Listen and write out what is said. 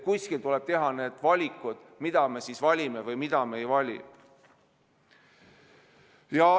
Kuskil tuleb teha need valikud, mida me valime ja mida me ei vali.